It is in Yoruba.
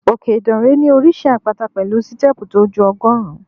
Òkè Ìdànrè ní oríṣi àpáta pẹ̀lú stẹ́ẹ̀pù tó ju ọgọ́rùn-ún.